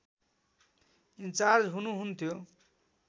in charge हुनुहुन्थ्यो